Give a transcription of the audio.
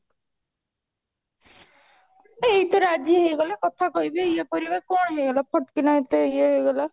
ଏଇ ତ ରାଜି ହେଇଗଲେ କଥା କହିବେ ଇଏ କରିବେ କଣ ହେଇଗଲା ଫଟ୍ କିନା ଏତେ ଇଏ ହେଇଗଲା